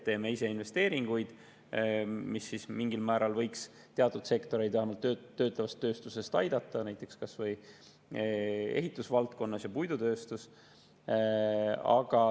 Me teeme ise investeeringuid, mis võiks mingil määral teatud sektoreid, vähemalt töötlevas tööstuses, aidata, kas või ehitusvaldkonnas ja puidutööstuses.